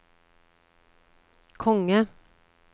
konge